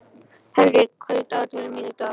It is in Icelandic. Henrik, hvað er í dagatalinu mínu í dag?